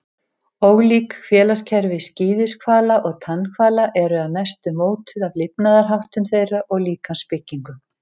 Ólík félagskerfi skíðishvala og tannhvala eru að mestu mótuð af lifnaðarháttum þeirra og líkamsbyggingu.